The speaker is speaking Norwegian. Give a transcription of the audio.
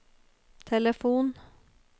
telefon